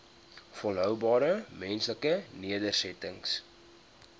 volhoubare menslike nedersettings